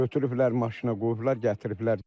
Götürüblər maşına qoyublar, gətiriblər.